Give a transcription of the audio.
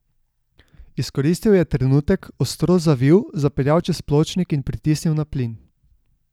Izkoristil je trenutek, ostro zavil, zapeljal čez pločnik in pritisnil na plin.